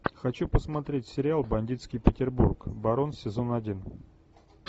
хочу посмотреть сериал бандитский петербург барон сезон один